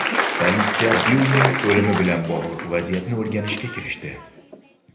Politsiya Byulning o‘limi bilan bog‘liq vaziyatni o‘rganishga kirishdi.